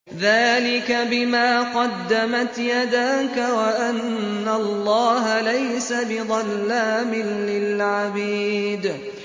ذَٰلِكَ بِمَا قَدَّمَتْ يَدَاكَ وَأَنَّ اللَّهَ لَيْسَ بِظَلَّامٍ لِّلْعَبِيدِ